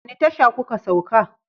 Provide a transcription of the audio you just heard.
Wani tasha ku ka sauka?